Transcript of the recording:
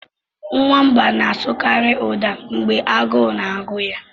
Nwamba na-asụkarị ụda mgbe agụụ na-agụ ya.